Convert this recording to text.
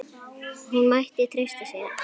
Hún mætti treysta sér.